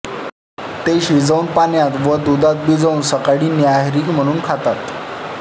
ते शिजवून पाण्यात वा दुधात भिजवून सकाळी न्याहारी म्हणून खातात